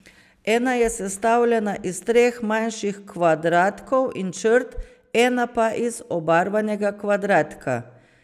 Ena je sestavljena iz treh manjših kvadratkov in črt, ena pa iz obarvanega kvadratka.